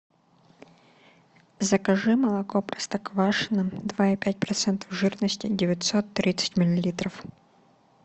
закажи молоко простоквашино два и пять процентов жирности девятьсот тридцать миллилитров